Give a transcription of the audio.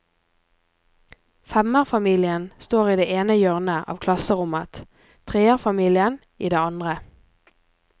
Femmerfamilien står i det ene hjørnet av klasserommet, treerfamilien i det andre.